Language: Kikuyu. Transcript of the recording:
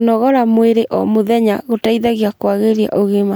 kũnogora mwĩrĩ o mũthenya gũteithagia kwagirĩa ũgima